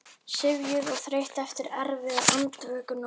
Syfjuð og þreytt eftir erfiða andvökunótt.